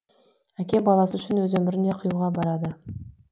әке баласы үшін өз өмірін де қиюға барады